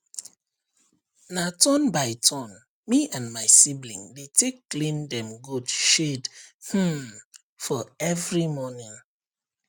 na turn by turn me and my sibling dey take clean dem goat shed um for every morning